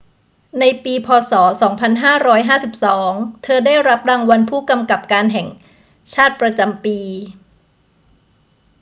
ในปี พ. ศ. 2552 เธอได้รับรางวัลผู้กำกับการแห่งชาติประจำปี